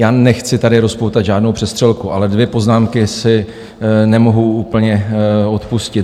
Já nechci tady rozpoutat žádnou přestřelku, ale dvě poznámky si nemohu úplně odpustit.